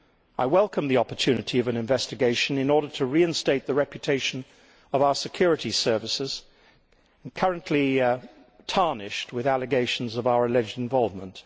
I welcome the opportunity of an investigation in order to reinstate the reputation of our security services, currently tarnished with allegations of our alleged involvement.